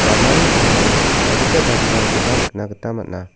ramani sambao adita garirangkoba nikna gita man·a.